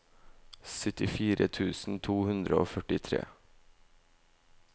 syttifire tusen to hundre og førtitre